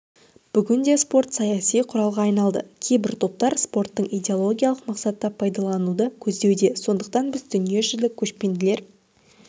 бүгінде спорт саяси құралға айналды кейбір топтар спорттың идеологиялық мақсатта пайдалануды көздеуде сондықтан біз дүниежүзілік көшпенділер